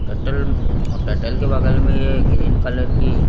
कटल और कटल के बगल में ये ग्रीन कलर की--